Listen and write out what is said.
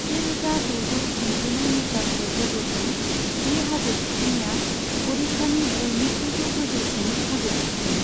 सेरोजा द'जौ स्निजिनै मिटारसो गोजौजों बे हाजो थिखिनिया अडिशानि बयनिख्रुइबो गोजौसिन हाजो थिखिनि।